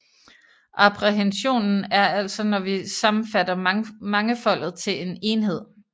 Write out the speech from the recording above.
Apprehensionen er altså når vi sammenfatter mangefoldet til en enhed